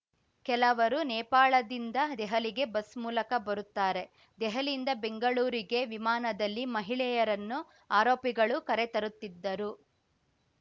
ಕೆಲವರು ನೇಪಾಳದಿಂದ ದೆಹಲಿಗೆ ಬಸ್‌ ಮೂಲಕ ಬರುತ್ತಾರೆ ದೆಹಲಿಯಿಂದ ಬೆಂಗಳೂರಿಗೆ ವಿಮಾನದಲ್ಲಿ ಮಹಿಳೆಯರನ್ನು ಆರೋಪಿಗಳು ಕರೆ ತರುತ್ತಿದ್ದರು